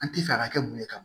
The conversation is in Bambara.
An ti fɛ a ka kɛ mun ye ka